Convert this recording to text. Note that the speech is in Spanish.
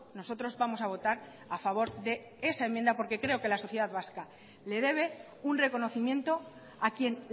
nosotros vamos a votar a favor de esa enmienda porque creo que la sociedad vasca le debe un reconocimiento a quien